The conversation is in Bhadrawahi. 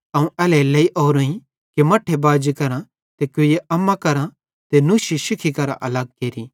अवं एल्हेरेलेइ ओरोईं कि मट्ठे बाजी करां ते कुइये अम्मा करां ते नुशी शिखी करां अलग केरि